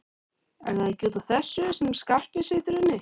Er það ekki út af þessu sem Skarpi situr inni?